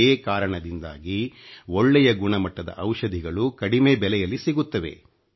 ಇದೇ ಕಾರಣದಿಂದಾಗಿ ಒಳ್ಳೆಯ ಗುಣಮಟ್ಟದ ಔಷಧಿಗಳು ಕಡಿಮೆ ಬೆಲೆಯಲ್ಲಿ ಸಿಗುತ್ತವೆ